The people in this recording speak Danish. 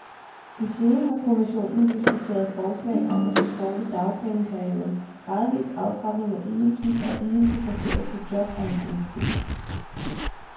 Desuden har kommissionen diskuteret forslag om at forkorte dagpengeperioden, gradvis aftrapning af ydelsen og ydelse baseret på jobanciennitet.